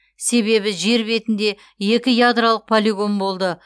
себебі жер бетінде екі ядролық полигон болды